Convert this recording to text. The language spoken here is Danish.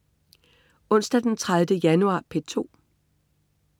Onsdag den 30. januar - P2: